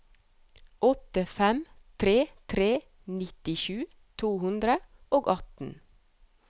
åtte fem tre tre nittisju to hundre og atten